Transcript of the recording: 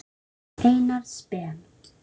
Einars Ben.